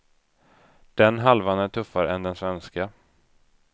Den halvan är tuffare än den svenska.